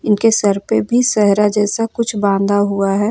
उनके सर पे भी सहरा जैसा कुछ बांधा हुआ है।